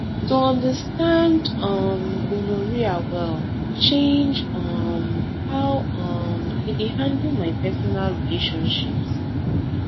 to understand um gonorrhea well change um how um i dey handle my personal relationships